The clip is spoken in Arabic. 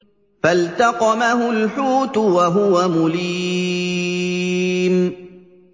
فَالْتَقَمَهُ الْحُوتُ وَهُوَ مُلِيمٌ